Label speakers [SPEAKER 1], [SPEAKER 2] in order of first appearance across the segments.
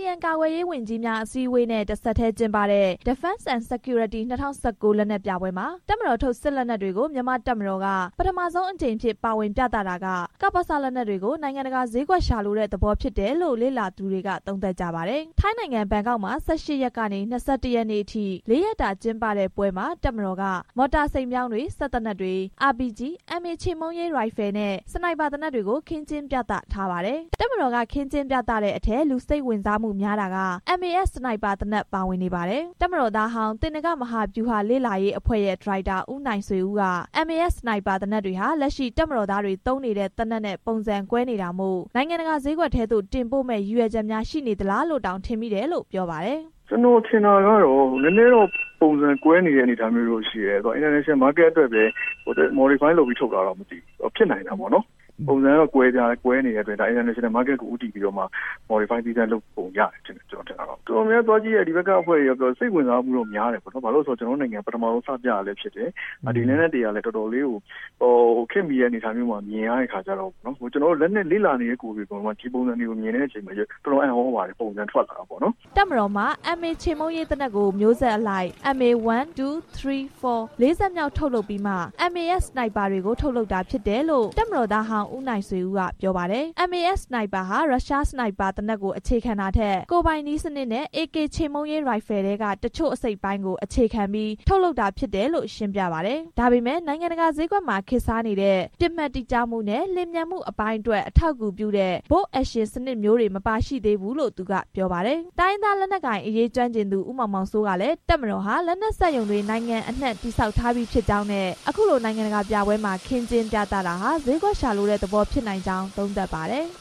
[SPEAKER 1] ဆီယံ ကာကွယ်ရေးဝန်ကြီးများအစည်းအဝေးနဲ့ တဆက်တည်း ကျင်းပတဲ့ Defense and Security 2019 လက်နက်ပြပွဲမှာ တပ်မတော်ထုတ်၊ စစ်လက်နက်တွေကို မြန်မာ့တပ်မတော်က ပထမဆုံးအကြိမ်အဖြစ် ပါဝင်ပြသတာက ကပစ လက်နက်တွေကို နိုင်ငံတကာဈေးကွက်ရှာလိုတဲ့သဘောဖြစ်တယ်လို့ လေ့လာသူတွေက သုံးသပ်ကြပါတယ်။ ထိုင်းနိုင်ငံ ဘန်ကောက်မှာ ၁၈ ကနေ ၂၁ ရက်နေ့အထိ ၄ ရက်တာ ကျင်းပတဲ့ပွဲမှာ တပ်မတော်က မော်တာ စိန်ပြောင်းတွေ၊ စက်သေနတ်တွေ၊ အာပီဂျီနဲ့ MA ချေမှုန်းရေးရိုင်ဖယ်နဲ့ စနိုက်ဘာသေနတ်တွေကို ခင်းကျင်းပြသထားပါတယ်။ တပ်မတော်က ခင်းကျင်းပြသတဲ့အထဲ လူစိတ်ဝင်စားမှုများတာက MAS စနိုက်ဘာသေနတ် ပါဝင်နေပါတယ်။ တပ်မတော်သားဟောင်း၊ သေနင်္ဂမဟာဗျူဟာလေ့လာရေးအဖွဲ့ရဲ့ ဒါရိုက်တာ ဦးနိုင်ဆွေဦးက MAS စနိုက်ဘာ သေနတ်တွေဟာ လက်ရှိတပ်မတော်သားတွေ သုံးနေတဲ့ သေနတ်နဲ့ပုံစံကွဲနေတာမို့ နိုင်ငံတကာဈေးကွက်ထဲသို့ တင်ပို့မယ့်ရည်ရွယ်ချက်များရှိနေသလားလို့တောင် ထင်မိတယ်လို့ပြောပါတယ်
[SPEAKER 2] ။ သေနင်္ဂမဟာဗျူဟာ လေ့လာရေးအဖွဲ့ ဒါရိုက်တာ ဦးနိုင်ဆွေဦးက “ကျွန်တော်ထင်တာကတော့ နည်းနည်းတော့ ပုံစံကွဲနေတဲ့ အနေအထားမျိုးရှိတယ်။ အင်တာနေရှင်နယ်ဈေးကွက်အတွက်ပဲ ရည်ရွယ်ပြီး ထုတ်တာလားမသိဘူး။ ပုံစံကတော့ကွဲနေတဲ့အတွက် အင်တာနေရှင်နယ်ဈေးကွက်ကို ဦးတည်ပြီးတော့မှ ရည်ရွယ်ပုံရတယ်။ တော်တော်များများသွားကြည့်တဲ့ ဒီဘက်ကအဖွဲ့တွေကတော့ စိတ်ဝင်စားမှုများတယ်။ ဘာလို့လည်းဆိုတော့ ကျွန်တော်တို့နိုင်ငံက ပထမဆုံး စပြတာလည်း ဖြစ်တယ်။ လက်နက်တွေကလည်း တော်တော်လေးကို ခေတ်မှီတဲ့အနေအထားမျိုးမှာ မြင်ရတဲ့အခါကျတော့ လက်နက် လေ့လာနေတဲ့ကိုယ်တွေက ဒီပုံစံကိုမြင်ရတဲ့အခါ တော်တော်အံ့သြပါတ
[SPEAKER 1] ယ်။” တပ်မတော်မှာ MA ချေမှုန်းရေးသေနတ်ကို မျိုးဆက်အလိုက် MA-1, 2, 3, 4 လေးဆက်မြောက်ထုတ်ပြီးမှ MAS စနိုက်ဘာတွေကို ထုတ်လုပ်တာဖြစ်တယ်လို့ တပ်မတော်သားဟောင်း ဦးနိုင်ဆွေဦးက ပြောပါတယ်။ MAS စနိုက်ဘာဟာ ရုရှားစနိုက်ဘာသေနတ်ကို အခြေခံတာထက်၊ ကိုယ်ပိုင်နည်းစနစ်နဲ့ AK ချေမှုန်းရေးရိုင်ဖယ်ထဲက တချို့အစိတ်အပိုင်းကို အခြေခံပြီး ထုတ်လုပ်တာဖြစ်တယ်လို့ ရှင်းပြပါတယ်။ ဒါပေမဲ့ နိုင်ငံတကာဈေးကွက်မှာ ခေတ်စားတဲ့ ပစ်မှတ်တိကျမှုနဲ့လျှင်မြန်မှုအပိုင်းအတွက် အထောက်အကူပြုတဲ့ Bolt Action စနစ်မျိုးတွေတော့ မပါရှိသေးဘူးလို့ သူကပြောပါတယ်။ တိုင်းရင်းသားလက်နက်ကိုင်အရေး ကျွမ်းကျင်သူ ဦးမောင်မောင်စိုးကလည်း တပ်မတော်ဟာ လက်နက်စက်ရုံတွေ နိုင်ငံအနှံ့ တည်ဆောက်ထားပြီးဖြစ်ကြောင်းနဲ့ အခုလို နိုင်ငံတကာပြပွဲမှာ ခင်းကျင်းပြသတာဟာ ဈေးကွက်ရှာလိုတဲ့သဘောဖြစ်နိုင်ကြောင်း သုံးသပ်ပါတယ်။
[SPEAKER 2] “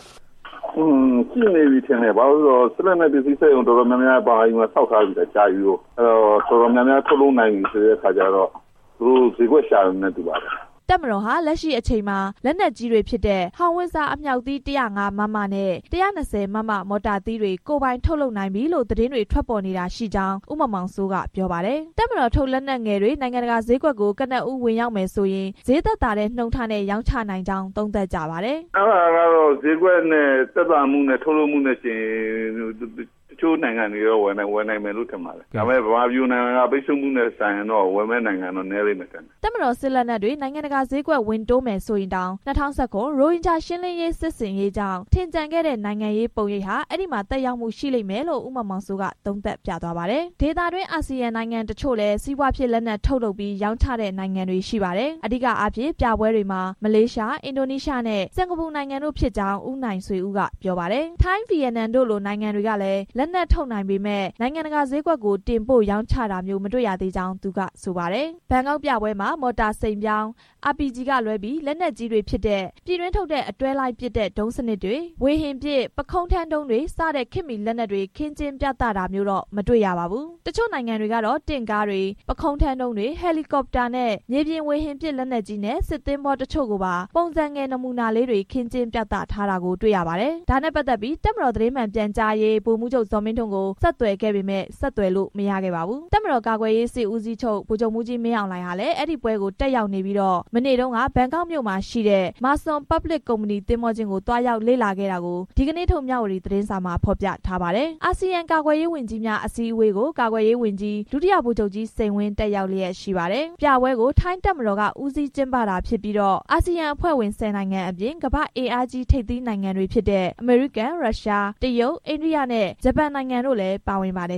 [SPEAKER 2] စစ်လက်နက်ပစ္စည်းစက်ရုံ တော်တော်များများ မြန်မာပြည်မှာ ဆောက်ထားတာ အတော်ကြာပြီကိုး။ အဲဒီတော့ တော်တော်များများ ထုတ်လုပ်နိုင်ပြီဆိုတဲ့အခါကျတော့ သူတို့ဈေးကွက်ရှာပြီနဲ့ တူပါတယ်။”
[SPEAKER 1] တပ်မတော်ဟာ လက်ရှိအချိန်မှာ လက်နက်ကြီးတွေဖြစ်တဲ့ ဟောင်ဝှစ်ဇာအမြောက်သီး ၁၀၅ မမနဲ့ ၁၂၀ မမ မော်တာသီးတွေ ကိုယ်ပိုင်ထုတ်လုပ်နိုင်ပြီလို့ သတင်းထွက်ပေါ်နေတာရှိကြောင်း ဦးမောင်မောင်စိုးက ပြောပါတယ်။ တပ်မတော်ထုတ်လက်နက်ငယ်တွေ နိုင်ငံတကာဈေးကွက်ကို ကနဦးဝင်ရောက်မယ်ဆိုရင် ဈေးသက်သာတဲ့နှုန်းထားနဲ့ ရောင်းချရနိုင်ကြောင်း သုံးသပ်ကြပါတယ်။
[SPEAKER 2] “ အဲဒါကတော့ ဈေးကွက်နဲ့ သက်သာမှုနဲ့ ထုတ်လုပ်မှုနဲ့ယှဉ်ရင် တချို့နိုင်ငံတွေက ဝယ်နိုင်မယ်လို့ထင်ပါတယ်။ ဒါပေမဲ့ ဗမာပြည်လို နိုင်ငံတကာ ပိတ်ဆို့မှုခံထားရတဲ့နိုင်ငံဆီက ဝယ်မယ့်နိုင်ငံနည်းလိမ့်မယ်လို့
[SPEAKER 1] ထင်ပါတယ်။” လို့ ဦးမောင်မောင်စိုးက ပြောပါတယ်။ တပ်မတော်စစ်လက်နက်တွေ နိုင်ငံတကာဈေးကွက် ဝင်တိုးမယ်ဆိုရင်တောင် ၂၀၁၇ ရိုဟင်ဂျာ ရှင်းလင်းရေးစစ်ဆင်ရေးကြောင့် ထင်ကျန်ခဲ့တဲ့နိုင်ငံရေးပုံရိပ်ဟာ အဲဒီမှာ သက်ရောက်မှုရှိလိမ့်မယ်လို့ ဦးမောင်မောင်စိုးက သုံးသပ်ပြသွားတာပါ။ ဒေသတွင်း အာဆီယံနိုင်ငံတချို့လည်း စီးပွားဖြစ်လက်နက်ထုတ်လုပ်ပြီး ရောင်းချတဲ့နိုင်ငံတွေရှိပါတယ်။ အဓိကအားဖြင့် ပြပွဲတွေမှာ မလေးရှား၊ အင်ဒိုနီးရှားနဲ့ စင်္ကာပူနိုင်ငံတို့ဖြစ်ကြောင်း ဦးနိုင်ဆွေဦးက ပြောပါတယ်။ ထိုင်း၊ ဗီယက်နက်တို့လိုနိုင်ငံတွေကလည်း လက်နက်ထုတ်နိုင်ပေမယ့် နိုင်ငံတကာဈေးကွက်ကို တင်ပို့ရောင်းချတာမျိုး မတွေ့ရသေးကြောင်းသူက ဆိုပါတယ်။ ဘန်ကောက်ပြပွဲမှာ မော်တာစိန်ပြောင်း၊ အာပီဂျီကလွဲပြီး လက်နက်ကြီးတွေဖြစ်တဲ့ ပြည်တွင်းထုတ်တဲ့ အတွဲလိုက်ပစ်တဲ့ ဒုံးစနစ်တွေ၊ ဝေဟင်ပစ် ပုခုံးထမ်းဒုံးတွေစတဲ့ခေတ်မီလက်နက်တွေ ခင်းကျင်းပြသတာမျိုးတော့ မတွေ့ရပါဘူး။ တချို့ နိုင်ငံတွေကတော့ တင့်ကားတွေ၊ ပုခုံးထမ်းဒုံးတွေ၊ ဟယ်လီကော်ပတာနဲ့ မြေပြင်ဝေဟင်ပစ်လက်နက်ကြီးနဲ့ စစ်သင်္ဘော တချို့ကိုပါ ပုံစံငယ်နမူနာလေးတွေ ခင်းကျင်းပြသထားတာတွေ့ရပါတယ်။ ဒါနဲ့ပတ်သက်ပြီး တပ်မတော်ပြောခွင့်ရ ဗိုလ်မှူးချုပ် ဇော်မင်းထွန်းကို ဒီညနေထိ ဆက်သွယ်ပေမယ့် ဆက်သွယ်လို့ မရရှိခဲ့ပါဘူး။ တပ်မတော်ကာကွယ်ရေးစစ်ဦးစီးချုပ် ဗိုလ်ချုပ်မှူးကြီး မင်းအောင်လှိုင်ဟာလည်း အဲဒီပွဲကို တက်ရောက်နေပြီးတော့၊ မနေ့တုန်းက ဘန်ကောက်မြို့မှာရှိတဲ့ မာစွန် Marsun Public Company သင်္ဘောကျင်းကို သွားရောက်လေ့လာခဲ့တာကို ဒီကနေ့ထုတ် မြဝတီသတင်းစာမှာ ဖော်ပြထားပါတယ်။ အာဆီယံ ကာကွယ်ရေးဝန်ကြီးများအစည်းအဝေးကို ကာကွယ်ရေးဝန်ကြီး ဒုတိယ ဗိုလ်ချုပ်ကြီး စိန်ဝင်းတက်ရောက်လျှက်ရှိပါတယ်။ ပြပွဲကို ထိုင်းတပ်မတော်က ဦးစီးကျင်းပတာဖြစ်ပြီးတော့ အာဆီယံအဖွဲ့ဝင် ဆယ်နိုင်ငံအပြင်၊ ကမ္ဘာ့အင်အားကြီး ထပ်သီးနိုင်ငံတွေဖြစ်တဲ့ အမေရိကန်၊ ရုရှား၊ တရုတ်၊ အိန္ဒိယနဲ့ ဂျပန်နိုင်ငံတို့လည်းပါဝင်ပါတယ်